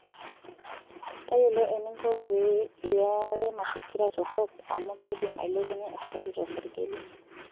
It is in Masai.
Tayiolo eninko pee iyarare mafikira torok amu keidim ailepunye esukari tosarge lino.